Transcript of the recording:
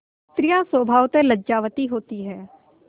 स्त्रियॉँ स्वभावतः लज्जावती होती हैं